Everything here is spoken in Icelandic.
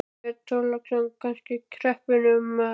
Björn Þorláksson: Þannig að kreppunni er um að kenna?